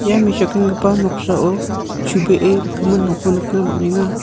ia mesokenggipa noksao chubee rikgimin nokko nikna man·enga.